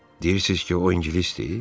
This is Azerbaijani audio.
Deyirsiniz ki, o ingilisdir?